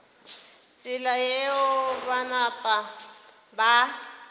tsela yeo ba napa ba